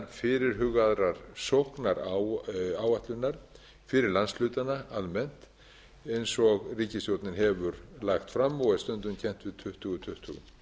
fyrirhugaðrar sóknaráætlunar fyrir landshlutana almennt eins og ríkisstjórnin hefur lagt fram og er stundum kennd á tuttugu tuttugu